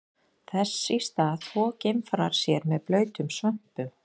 Þess í stað þvo geimfarar sér með blautum svömpum.